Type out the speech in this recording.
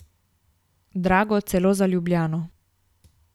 Drago celo za Ljubljano.